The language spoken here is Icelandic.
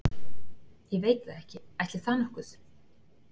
Ég veit það ekki, ætli það nokkuð.